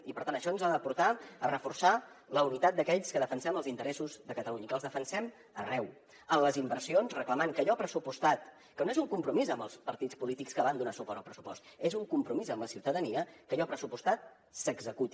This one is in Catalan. i per tant això ens ha de portar a reforçar la unitat d’aquells que defensem els interessos de catalunya i que els defensem arreu en les inversions reclamant que allò pressupostat que no és un compromís amb els partits polítics que van donar suport al pressupost és un compromís amb la ciutadania s’executi